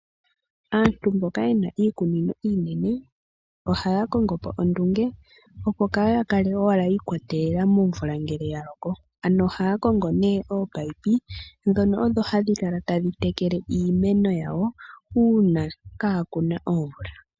Aantu mboka yena iikunino iinene, oha ya kongo po ondunge , opo kaya kale owala ya ikwatelela momvula ngele ya loko. Ano oha ya kongo nee oopayipi, dhono odho hadhi kala tadhi tekele iimeno yawo uuna kaakuna omvula.